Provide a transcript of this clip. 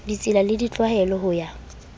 ditsela le ditlwaelo ho ya